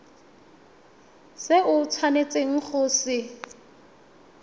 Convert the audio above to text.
se o tshwanetseng go se